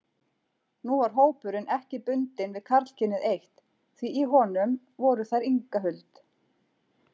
Nú var hópurinn ekki bundinn við karlkynið eitt, því í honum voru þær Inga Huld